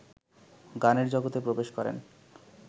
গানের জগতে প্রবেশ করেন